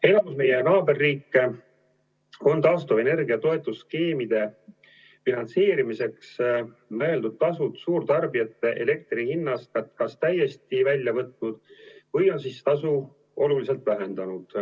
Enamik meie naaberriike on taastuvenergia toetusskeemide finantseerimiseks mõeldud tasud suurtarbijate elektri hinnast kas täiesti välja võtnud või on tasu oluliselt vähendanud.